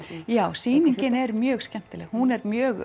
já sýningin er mjög skemmtileg hún er mjög